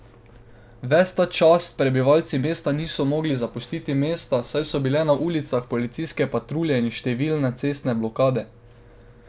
Ves ta čas prebivalci mesta niso mogli zapustiti mesta, saj so bile na ulicah policijske patrulje in številne cestne blokade.